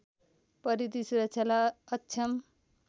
परिधि सुरक्षालाई अक्षम